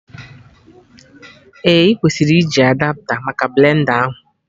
Ee, ị kwesịrị iji Adapta maka blend a ahụ